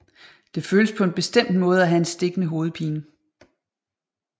Det føles på en bestemt måde at have en stikkende hovedpine